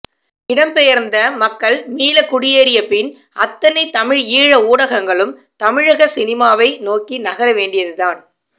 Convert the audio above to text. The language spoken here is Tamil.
இடம்பெயர்ந்த மக்கள் மீளக் குடியேறிய பின் அத்தனை தமிழ்ஈழ ஊடகங்களும் தமிழக சினிமாவை நோக்கி நகர வேண்டியதுதான்